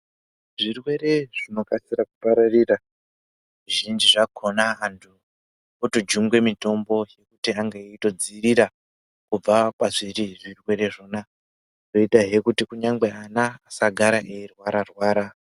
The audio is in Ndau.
Zvirwere zvinokasira kupararira zvizhinji zvakona antu kutojungwe mitombo kuti ange eitodzirira kubva kwazviri zvirwere zvona zvoitahe kuti kunyangwe vana vasagara veingorwara rwara .